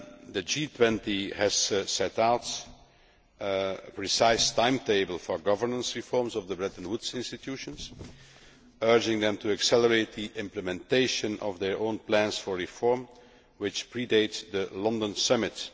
The G20 has set out a precise timetable for governance reforms of the Bretton Woods institutions urging them to accelerate the implementation of their own plans for reform which predate the London Summit.